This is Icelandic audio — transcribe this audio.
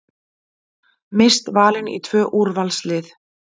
Mist valin í tvö úrvalslið